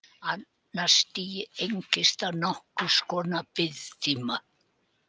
Annað stigið einkennist af nokkurs konar biðtíma.